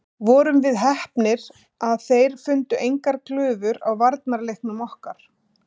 Vorum við heppnir að þeir fundu engar glufur á varnarleiknum okkar?